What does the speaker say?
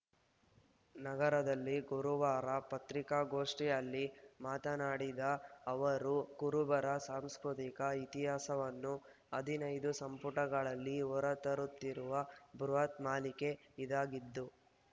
ನಗರದಲ್ಲಿ ಗುರುವಾರ ಪತ್ರಿಕಾಗೋಷ್ಠಿಯಲ್ಲಿ ಮಾತನಾಡಿದ ಅವರು ಕುರುಬರ ಸಾಂಸ್ಕೃತಿಕ ಇತಿಹಾಸವನ್ನು ಹದಿನೈದು ಸಂಪುಟಗಳಲ್ಲಿ ಹೊರತರುತ್ತಿರುವ ಬೃಹತ್‌ ಮಾಲಿಕೆ ಇದಾಗಿದ್ದು